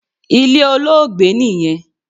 Ilé Olóògbé niyẹn